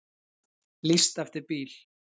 Lýst eftir bíl